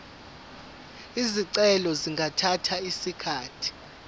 izicelo zingathatha isikhathi